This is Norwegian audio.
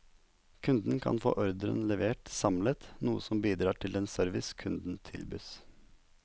Kunden kan få ordren levert samlet, noe som bidrar til den service kunden tilbys.